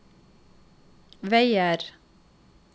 veier